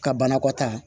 Ka banakɔtaa